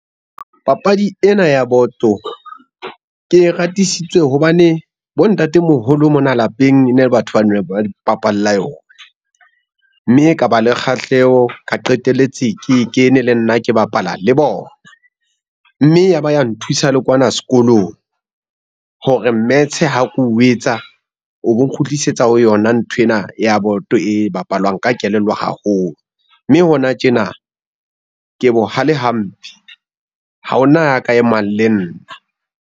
Papadi ena ya boto, ke e ratisitswe hobane bontatemoholo mona lapeng e ne batho ba ne ba bapalla yona, mme ka ba le kgahleho ka qetelletse ke kene le nna, ke bapala le bona. Mme ya ba ya nthusa le kwana sekolong, hore mmetshe ha ko etsa o bo nkgutlisetsa ho yona nthwena ya boto e bapalwang ka kelello haholo, mme hona tjena ke bohale hampe, ha hona ya ka e mang le nna.